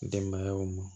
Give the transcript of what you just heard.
Denbayaw ma